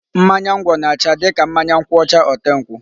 Mmanya ngwọ na-acha dịka mmanya nkwụ ọcha ote nkwụ.